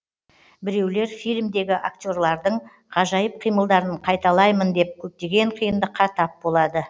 біреулер фильмдегі актерлардың ғажайып қимылдарын қайталаймын деп көптеген қиындыққа тап болады